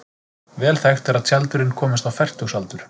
Vel þekkt er að tjaldurinn komist á fertugsaldur.